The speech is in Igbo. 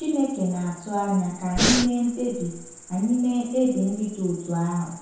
Chineke na-atụ anya ka anyị mee mkpebi anyị mee mkpebi ndị dị otú ahụ.